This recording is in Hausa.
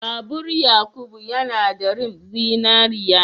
Babur Yakubu yana da rim zinariya.